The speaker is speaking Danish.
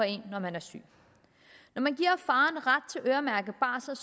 en når man er syg når man giver faren ret til øremærket barsel